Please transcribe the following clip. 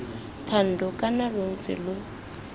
thando kana lo ntse lo